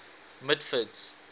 mitford's